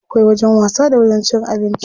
Akwai wajen wasa da wajen cin abinci.